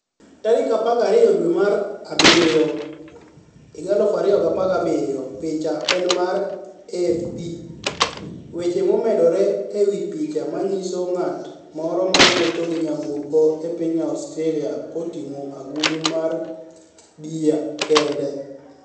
12 dwemar abiryo, 2017 Picha eni mar AFP Weche momedore e wi picha ma niyiso nig'at moro ma wuotho gi niyamburko e piniy Australia ka otinig'o agulu mar bia kenide.